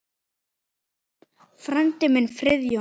Frændi minn, Friðjón